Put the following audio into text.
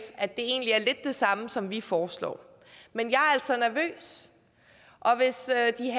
at det egentlig er lidt det samme som vi foreslår men jeg er altså nervøs og hvis